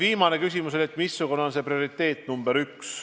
Viimane küsimus oli selle kohta, missugune on prioriteet nr 1.